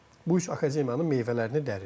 Bu üç akademiyanın meyvələrini dərir.